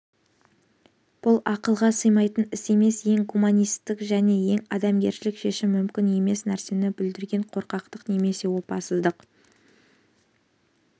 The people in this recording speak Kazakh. бұл ақылға сыймайтын іс емес ең гуманистік және ең адамгершілік шешім мүмкін емес нәрсені бүлдірген қорқақтық немесе опасыздық